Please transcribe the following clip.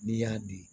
N'i y'a dun